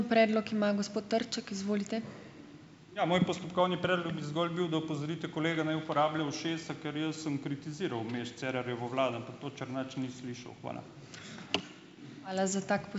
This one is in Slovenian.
Ja, moj postopkovni predlog bi zgolj bil, da opozorite kolega, naj uporablja ušesa, ker jaz sem kritiziral vmes Cerarjevo vlado, ampak to Černač ni slišal. Hvala.